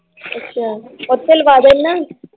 ਅੱਛਾ ਉਹਤੇ ਲਵਾਦੇ ਨਾ l